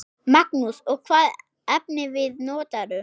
Magnús: Og hvaða efnivið notarðu?